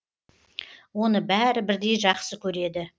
оны бәрі бірдей жақсы көреді